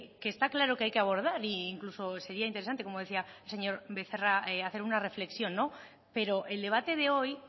que está claro que hay que abordar e incluso sería interesante como decía el señor becerra hacer una reflexión no pero el debate de hoy